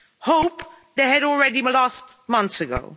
Hope, they had already lost months' ago.